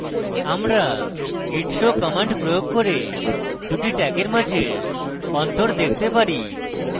আমরা git show command প্রয়োগ করে দুটি tags মাঝের অন্তর দেখতে পারি